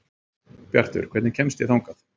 Bjartur, hvernig kemst ég þangað?